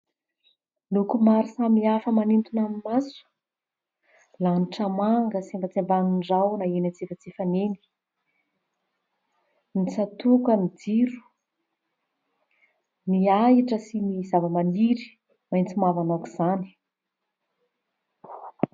Loko maro samihafa manintona ny maso, lanitra manga sembatsembanin'ny rahona eny antsefatsefany eny, ny tsatòkan'ny jiro, ny ahitra sy ny zavamaniry maitso mavana aok'izany.